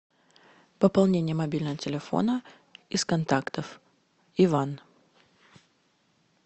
пополнение мобильного телефона из контактов иван